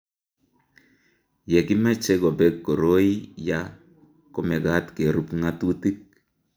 ye kimeche kobek koroi ya ko mekat kerub ng'atutik